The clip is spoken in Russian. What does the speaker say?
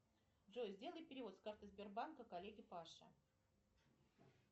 джой сделай перевод с карты сбербанка коллеге паше